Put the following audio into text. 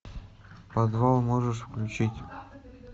подвал можешь включить